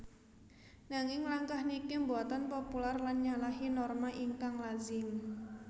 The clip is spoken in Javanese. Nanging langkah niki mboten popular lan nyalahi norma ingkang lazim